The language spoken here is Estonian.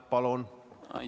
Palun!